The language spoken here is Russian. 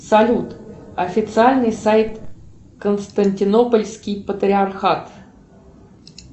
салют официальный сайт константинопольский патриархат